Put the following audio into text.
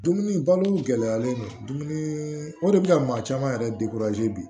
Dumuni balo gɛlɛyalen don dumuni o de bi ka maa caman yɛrɛ bi